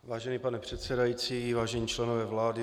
Vážený pane předsedající, vážení členové vlády.